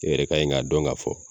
E yɛrɛ kanɲi k'a dɔn ka fɔ